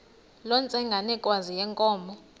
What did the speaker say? loo ntsengwanekazi yenkomo